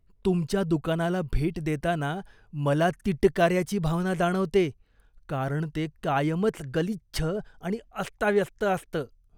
तुमच्या दुकानाला भेट देताना मला तिटकाऱ्याची भावना जाणवते, कारण ते कायमच गलिच्छ आणि अस्ताव्यस्त असतं.